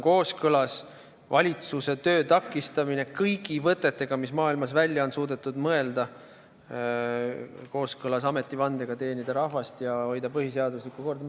Kuidas on valitsuse töö takistamine kõigi võtetega, mis maailmas välja on suudetud mõelda, kooskõlas ametivandega teenida rahvast ja hoida põhiseaduslikku korda?